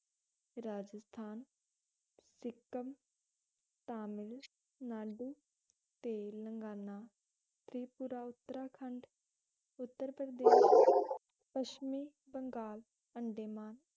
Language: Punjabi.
ਰਾਜਸਥਾਨ, ਸਿੱਕਮ, ਤਾਮਿਲ ਨਾਡੂ, ਤੇਲੰਗਾਨਾ, ਤ੍ਰਿਪੁਰਾ ਉੱਤਰਾਖੰਡ, ਉੱਤਰ ਪ੍ਰਦੇਸ਼ ਪੱਛਮੀ ਬੰਗਾਲ, ਅੰਡੇਮਾਨ